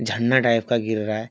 झंडा टाइप का गिर रहा है।